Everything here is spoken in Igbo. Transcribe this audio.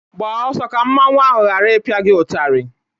Gbaa ọsọ ka mmanwu ahụ ghara ịpịa gi ụtarị